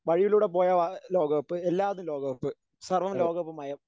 വഴിയിലൂടെ പോയാൽ ലോകകപ്പ് എല്ലാടത്തും ലോകകപ്പ് സർവ്വം ലോകകപ്പ് മയം.